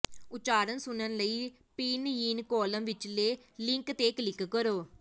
ਉਚਾਰਨ ਸੁਣਨ ਲਈ ਪਿਨਯਿਨ ਕਾਲਮ ਵਿਚਲੇ ਲਿੰਕ ਤੇ ਕਲਿਕ ਕਰੋ